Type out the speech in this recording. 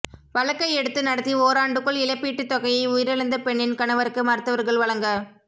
வழக்கை எடுத்து நடத்தி ஓராண்டுக்குள் இழப்பீட்டு தொகையை உயிரிழந்த பெண்ணின் கணவருக்கு மருத்துவா்கள் வழங்க